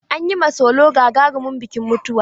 An yi ma solo gagarumin bikin mutuwa.